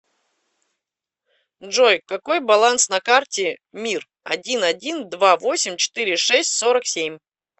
джой какой баланс на карте мир один один два восемь четыре шесть сорок семь